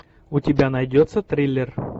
у тебя найдется триллер